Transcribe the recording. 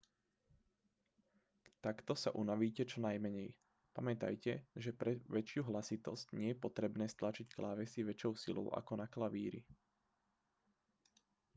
takto sa unavíte čo najmenej pamätajte že pre väčšiu hlasitosť nie je potrebné stlačiť klávesy väčšou silou ako na klavíri